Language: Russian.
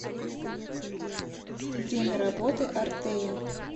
время работы артея